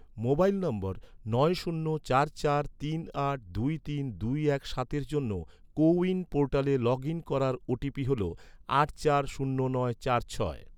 mobile নম্বর, নয় শূন্য চার চার তিন আট দুই তিন দুই এক সাতের জন্য, কোউইন পোর্টালে লগ ইন করার ওটিপি হল, আট চার শূন্য নয় চার ছয়